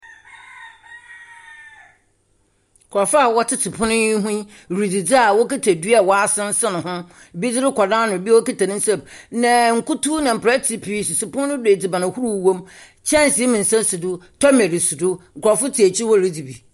Nkurɔfoɔ a wɔtete pono yi ho yi ridzidzi a wɔkita dua a wɔasensene ho. Ebi de rokɔ n'ano, ebi okita ne nsam. Na nkutu na mperɛte pii sisi pono no do a edziban ahorow wom. Nkyɛnse mmeɛnsa si do, tɔmɛn si do nkurɔfo te ekyir hɔ ridzi bi.